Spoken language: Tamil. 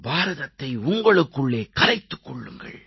பாரதத்தை உங்களுக்குள்ளே கரைத்துக் கொள்ளுங்கள்